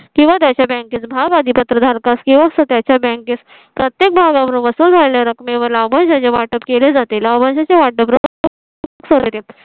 किंवा त्याच्या bank त भाग पत्र धारकास किंवा त्याच्या bank त प्रत्येक भागाबरोबर रकमेवर लाभांशाचे वाटप केले जाते लाभांश चे वाटप